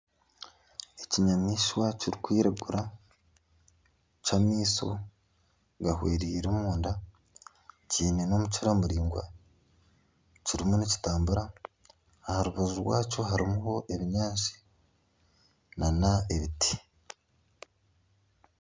Ekinyamaishwa kirikwiragura ky'amaisho gahwereiire omunda kiine n'omukira muraingwa kiriyo nikitambura aha rubaju rwakyo hariho ebinyaatsi nana ebiti